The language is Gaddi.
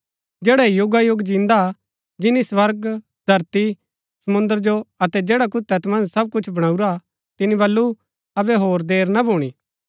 जैडा युगायुग जिन्दा हा जिनी स्वर्ग धरती समुंद्र जो अतै जैडा कुछ तैत मन्ज सब बणाऊरा तिनी बल्लू अबै होर देर ना भूणी